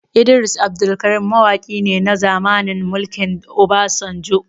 Idris Abdulkarim mawaki ne na zamanin mulkin Obasanjo